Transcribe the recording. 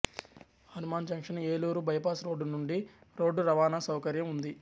Hanuman junction Eluru bypass road నుండి రోడ్దురవాణా సౌకర్యం ఉంది